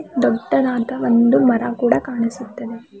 ದೊಡ್ಡದಾದ ಒಂದು ಮರ ಕೂಡ ಕಾಣಿಸುತ್ತದೆ.